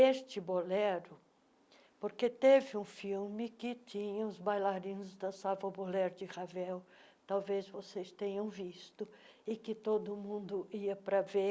Este bolero, porque teve um filme que tinha os bailarinos dançavam o Bolero de Ravel, talvez vocês tenham visto, e que todo mundo ia para ver,